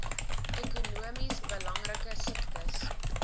ekonomies belangrike siektes